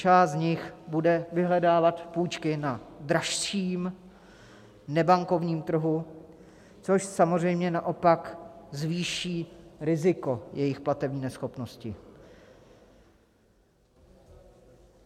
Část z nich bude vyhledávat půjčky na dražším nebankovním trhu, což samozřejmě naopak zvýší riziko jejich platební neschopnosti.